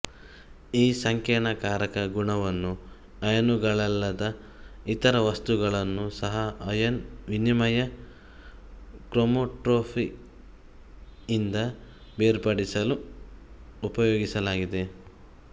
ಈ ಸಂಕೀರ್ಣಕಾರಕ ಗುಣವನ್ನು ಅಯಾನುಗಳಲ್ಲದ ಇತರ ವಸ್ತುಗಳನ್ನು ಸಹ ಅಯಾನ್ ವಿನಿಮಯ ಕ್ರೊಮೊಟೋಗ್ರಫಿಯಿಂದ ಬೇರ್ಪಡಿಸಲು ಉಪಯೋಗಿಸಲಾಗಿದೆ